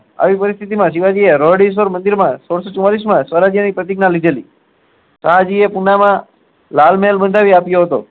આવી પરીસ્થીતી માં શિવાજી એ મંદિર સોળસો ચુમાલીસ માં જે એક પ્રતીગ્ય્ના લીધે લી આજે એ પુણે માં લાલ મહેલ બંધાવી આપ્યો હતો